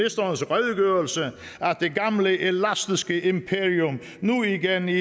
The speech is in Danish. det gamle elastiske imperium nu igen i